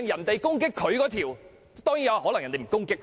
當然，其他議員可能不會攻擊他。